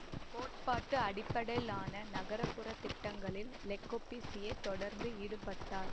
கோட்பாட்டு அடிப்படையிலான நகர்ப்புறத் திட்டங்களில் லெ கொபூசியே தொரர்ந்து ஈடுபட்டார்